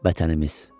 Vətənimiz.